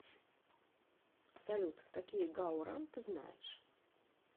салют какие гао ран ты знаешь